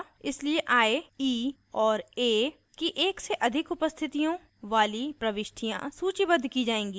इसलिए i e और a की एक से अधिक उपस्थितियों वाली प्रविष्टियाँ सूचीबद्ध की जाएँगी